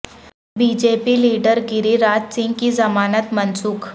be J P leader Giriraj Singh کی ضمانت منسوخ